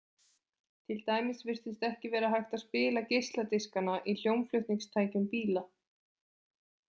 Til dæmis virtist ekki vera hægt að spila geisladiskana í hljómflutningstækjum bíla.